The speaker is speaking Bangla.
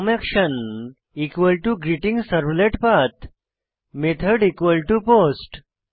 form action greeting servlet path method post